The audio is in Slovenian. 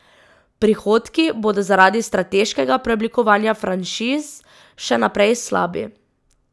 Prihodki bodo zaradi strateškega preoblikovanja franšiz še naprej slabi.